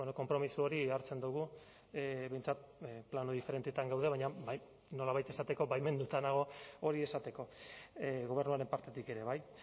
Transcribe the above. konpromiso hori hartzen dugu behintzat plano diferentetan gaude baina nolabait esateko baimenduta nago hori esateko gobernuaren partetik ere bai